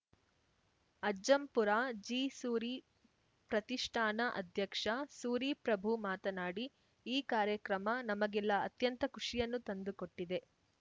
ಅಜ್ಜಂಪುರ ಜಿಸೂರಿ ಪ್ರತಿಷ್ಠಾನ ಅಧ್ಯಕ್ಷ ಸೂರಿ ಪ್ರಭು ಮಾತನಾಡಿ ಈ ಕಾರ್ಯಕ್ರಮ ನಮಗೆಲ್ಲ ಅತ್ಯಂತ ಖುಷಿಯನ್ನು ತಂದುಕೊಟ್ಟಿದೆ